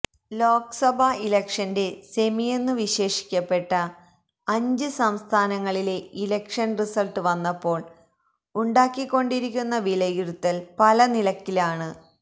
ലോക്സഭ ഇലക്ഷന്റെ സെമിയെന്നു വിശേഷിപ്പിക്കപ്പെട്ട അഞ്ച് സംസ്ഥാനങ്ങളിലെ ഇലക്ഷന് റിസള്ട്ട് വന്നപ്പോള് ഉണ്ടായിക്കൊണ്ടിരിക്കുന്ന വിലയിരുത്തല് പല നിലക്കാണ്